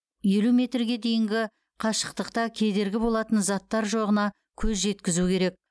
елу метрге дейінгі қашықтықта кедергі болатын заттар жоғына көз жеткізу керек